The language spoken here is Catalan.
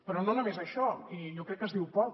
però no només això i jo crec que es diu poc